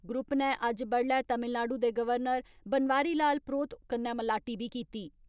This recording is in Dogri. ग्रुप नै अज्ज बड्डुलै तमिलनाडू दे गवर्नर बनवारी लाल प्रोहित कन्नै मलाटी बी कीती।